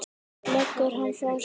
Leggur hann frá sér.